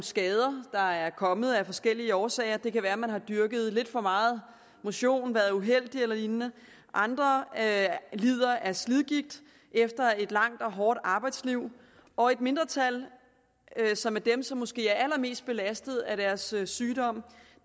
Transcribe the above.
skader der er kommet af forskellige årsager det kan være man har dyrket lidt for meget motion eller været uheldig eller lignende andre lider af slidgigt efter et langt og hårdt arbejdsliv og et mindretal som er dem som måske er allermest belastede af deres sygdom